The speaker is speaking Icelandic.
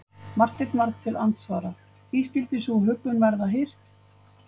Marteinn varð til andsvara:-Því skyldi sú huggun verða hirt?